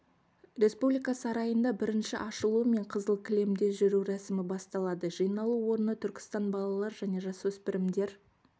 республика сарайында бірінші ашылуы мен қызыл кілемде жүру рәсімі басталады жиналу орны түркістан балалар және жасөспірімдер